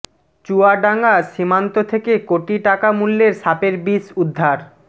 চুয়াডাঙ্গা সীমান্ত থেকে কোটি টাকা মূল্যের সাপের বিষ উদ্ধার